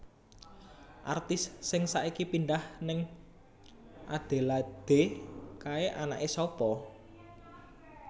Artis sing saiki pindah ning Adelaide kae anake sapa